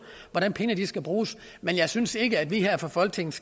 hvordan pengene skal bruges men jeg synes ikke at vi her fra folketingets